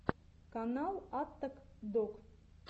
канал аттак дог